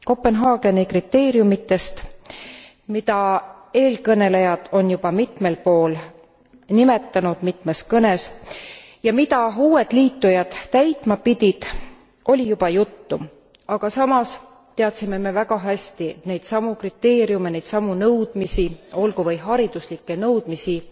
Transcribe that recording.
Kopenhaageni kriteeriumitest, mida eelkõnelejad on juba mitmel pool nimetanud mitmes kõnes ja mida uued liitujad täitma pidid, oli juba juttu, aga samas teadsime me väga hästi, et neid samu kriteeriume, neid samu nõudmisi olgu või hariduslikke nõudmisi